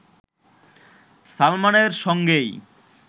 সালমানের সঙ্গেই